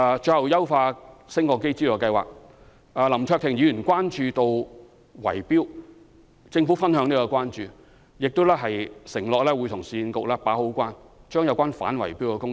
最後，有關優化升降機資助計劃，林卓廷議員關注到圍標問題，政府對此亦表關注，並承諾會與市區重建局好好把關，做好反圍標的工作。